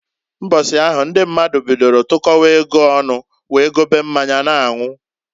Mbọsị ahụ ndị mmadụ bidolu tụkọwa ego ọnụ wee gobe mmanya n'anwụ.